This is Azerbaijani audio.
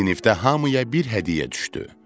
Sinifdə hamıya bir hədiyyə düşdü.